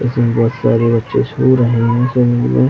इसमें बहुत सारे बच्चे सो रहे हैं। मे